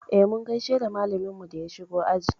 E, mun gaishe da malaminmu da ya shigo aji.